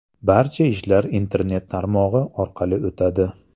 Barcha ishlar internet tarmog‘i orqali o‘tadi.